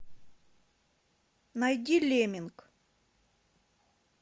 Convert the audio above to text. найди лемминг